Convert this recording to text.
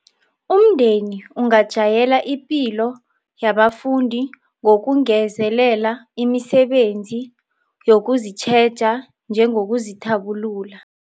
Umndeni ungajayela ipilo yabafundi ngokungezelela imisebenzi yokuzitjheja, njengokuzithabulula